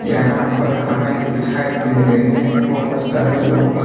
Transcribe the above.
यहां पर हमें दिखाई दे रहे हैं बहुत सारे लोग।